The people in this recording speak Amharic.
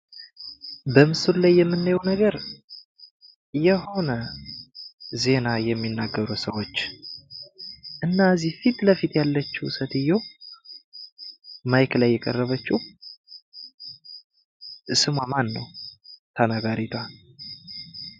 በምስሉ ላይ የምናየው ነገር የሆነ ዜና የሚናገሩ ሰዎች እና እዚህ ፊት ለፊት ያለችው ሴትዮ ማይክ ላይ የቀረበችው ስሟ ማን ነው ተባባሪቷ?